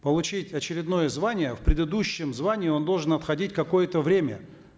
получить очередное звание в предыдущем звании он должен отходить какое то время